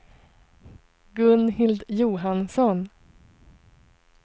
Gunhild Johansson